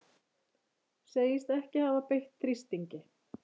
Segist ekki hafa beitt þrýstingi